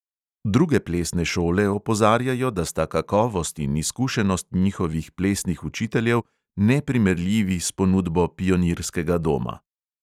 Druge plesne šole opozarjajo, da sta kakovost in izkušenost njihovih plesnih učiteljev neprimerljivi s ponudbo pionirskega doma.